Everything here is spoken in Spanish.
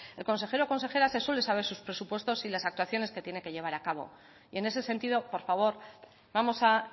el consejero o consejera se suele saber sus presupuestos y las actuaciones que tiene que llevar a cabo y en ese sentido por favor vamos a